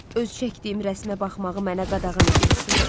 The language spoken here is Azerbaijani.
Öz çəkdiyim rəsmə baxmağı mənə qadağan eləyirsiz?